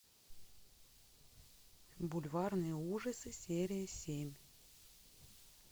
бульварные ужасы серия семь